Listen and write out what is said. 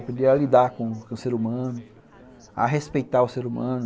Aprender a lidar com o ser humano, a respeitar o ser humano.